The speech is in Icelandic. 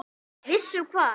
Viss um hvað?